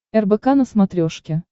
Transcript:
рбк на смотрешке